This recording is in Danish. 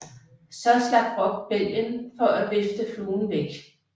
Så slap Brokk bælgen for at vifte fluen væk